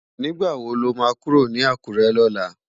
Nigbá wó ló má kúró ni Akure lòlá?